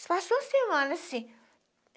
Isso passou semana, assim.